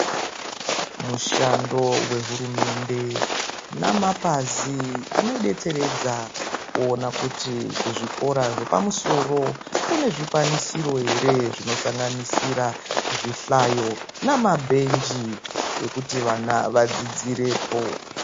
Mushando wehurumende namapazi anoidetseredza kuona kuti kuzvikora zvepamusoro, kune zvikwanisiro ,ere zvinosanganisira zvihlayo namabhenji, ekuti vana vadzidzirepo.